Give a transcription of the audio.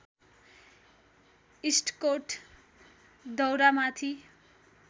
इस्टकोट दौरामाथि